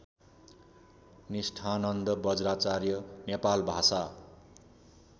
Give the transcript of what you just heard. Nisthananda Bajracharya Nepal Bhasa